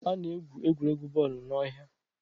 A na-egwu egwuregwu bọọlụ n'ọhịa